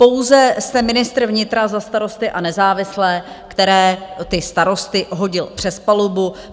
Pouze jste ministr vnitra za Starosty a nezávislé, který ty starosty hodil přes palubu.